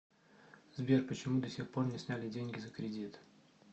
сбер почему до сих пор не сняли деньги за кредит